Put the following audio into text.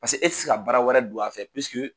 Pase e ti se ka baara wɛrɛ don a fɛ